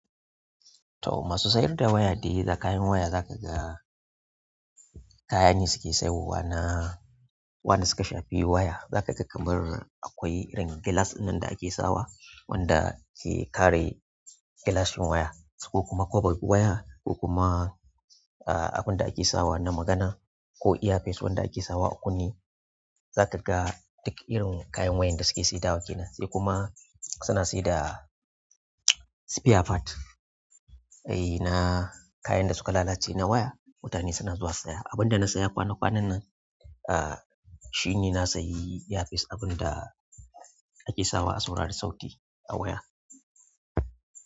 To masu siyar da waya dai da kayan waya za ka ga kayan ne suke siyarwa na wanda suka shafi waya. Za ka ga kamar akwai irin gilas ɗinnan da ake sawa wanda ke kare gilashin waya ko kuma koba waya ko kuma, ah, abun da ake sawa na magana ko airpeace wanda ake sawa. A kunneh zakaga duk irin kayan wayar da suke saidawa kenan sai kuma suna saida spare part, eh, na kayan da suka lalace na waya. Mutane suna zuwa saya. Abinda na siya kwana kwannan ah shine na siyi air peace abinda ake sawa a, saurari sauti a waya.